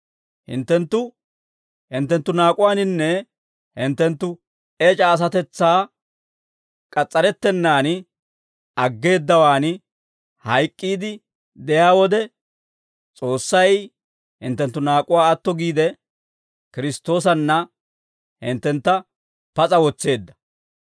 Hinttenttu hinttenttu naak'uwaaninne hinttenttu ec'a asatetsaa k'as's'arettennan aggeeddawan hayk'k'iide de'iyaa wode, S'oossay hinttenttu naak'uwaa atto giide, Kiristtoosanna hinttentta pas'a wotseedda.